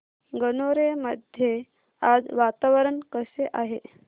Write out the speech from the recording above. गणोरे मध्ये आज वातावरण कसे आहे